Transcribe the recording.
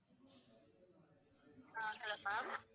ah hello ma'am